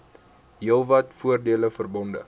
heelwat voordele verbonde